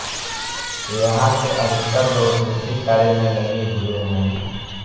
यहां के अधिकतर लोग कृषि कार्य में लगे हुए है